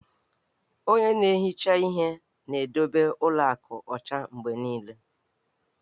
Onye na-ehicha ihe na-edobe ụlọ akụ ọcha mgbe niile